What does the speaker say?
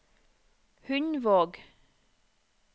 Hundvåg